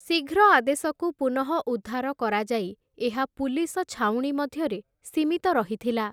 ଶୀଘ୍ର ଆଦେଶକୁ ପୁନଃଉଦ୍ଧାର କରାଯାଇ ଏହା ପୁଲିସ ଛାଉଣୀ ମଧ୍ୟରେ ସୀମିତ ରହିଥିଲା ।